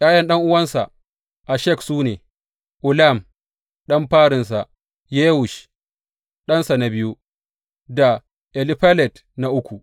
’Ya’yan ɗan’uwansa Eshek su ne, Ulam ɗan farinsa, Yewush ɗansa na biyu da Elifelet na uku.